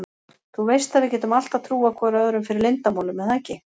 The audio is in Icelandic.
Þú veist að við getum alltaf trúað hvor öðrum fyrir leyndarmálum er það ekki?